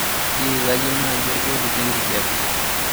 jii kayieu naaji olgoti le nkijape